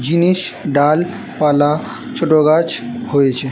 জিনিস ডাল পালা ছোট গাছ হয়েছে।